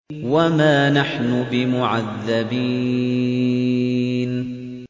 وَمَا نَحْنُ بِمُعَذَّبِينَ